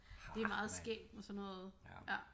Det er meget skægt med sådan noget